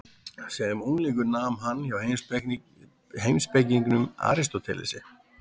Sem unglingur nam hann hjá heimspekingnum Aristótelesi.